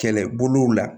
Kɛlɛbolow la